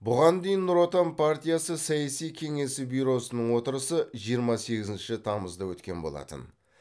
бұған дейін нұр отан партиясы саяси кеңесі бюросының отырысы жиырма сегізінші тамызда өткен болатын